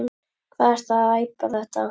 Hvað ertu að æpa þetta.